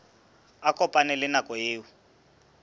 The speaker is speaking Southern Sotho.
a kopane le nako eo